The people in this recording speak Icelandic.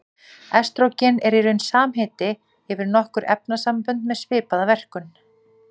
Estrógen er í raun samheiti yfir nokkur efnasambönd með svipaða verkun.